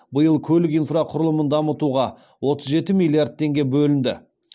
биыл көлік инфрақұрылымын дамытуға отыз жеті миллиард теңге бөлінді